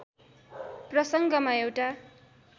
प्रसङ्गमा एउटा